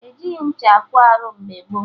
E jighị ncha ekwo arụ mgbe gboo